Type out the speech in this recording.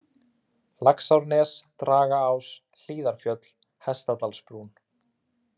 Laxárnes, Dragaás, Hlíðarfjöll, Hestadalsbrún